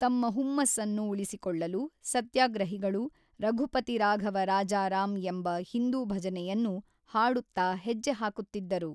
ತಮ್ಮ ಹುಮ್ಮಸ್ಸನ್ನು ಉಳಿಸಿಕೊಳ್ಳಲು, ಸತ್ಯಾಗ್ರಹಿಗಳು ರಘುಪತಿ ರಾಘವ ರಾಜ ರಾಮ್ ಎಂಬ ಹಿಂದೂ ಭಜನೆಯನ್ನು ಹಾಡುತ್ತಾ ಹೆಜ್ಜೆ ಹಾಕುತ್ತಿದ್ದರು.